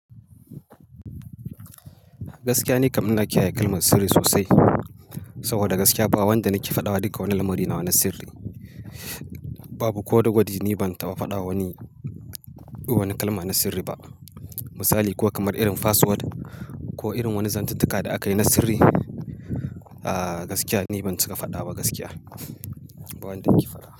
Gaskiya ni kam ina kiyaye kalmar sirri sosai, saboda gaskiya ba wanda nake faɗawa duka wani lamari nawa ni sirri. Babu ko da gwadi ni ban taɓa faɗa wani, wani kalma na sirri ba. Misali, ko kamar irin password ko irin wani zantuntuka da aka yi na sirri. Aaa gaskiya ni ban cika faɗa ba gaskiya, ba wanda nake faɗa.